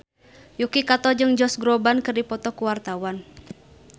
Yuki Kato jeung Josh Groban keur dipoto ku wartawan